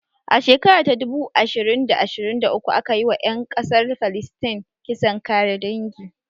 A shekara ta dubu ashirin da ashirin da uku aka yi wa ƴan ƙasar falistin kisan kare dangi